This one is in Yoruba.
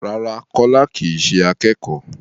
Rárá, Kọ́lá kì í ṣe akẹ́kọ̀ọ́.